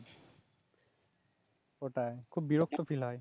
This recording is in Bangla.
ওটাই খুব বিরক্ত ফীল হয়